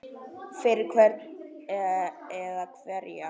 Fyrir hvern eða hverja?